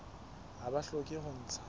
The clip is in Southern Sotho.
ha ba hloke ho ntsha